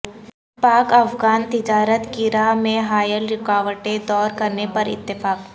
پاک افغان تجارت کی راہ میں حائل رکاوٹیں دور کرنے پراتفاق